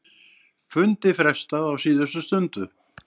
Fundi frestað á síðustu stundu